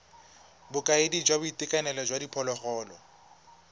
bokaedi jwa boitekanelo jwa diphologolo